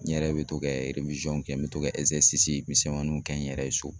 N yɛrɛ bɛ to ka kɛ n bɛ to ka misɛmaninw kɛ n yɛrɛ ye so